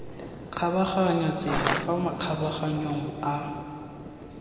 kgabaganyang tsela fa makgabaganyong a